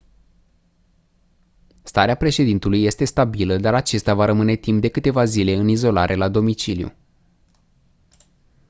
starea președintelui este stabilă dar acesta va rămâne timp de câteva zile în izolare la domiciliu